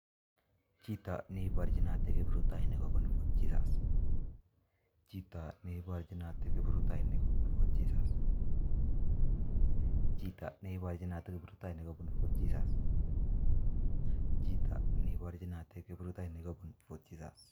Kito ne iborchinoti kiprutoinik kobunu fort jesus. Chito ne iborchinoti kiprutoinik kobun fort jesus. Chito ne iborchinoti kiprutoinik kobun fort jesus.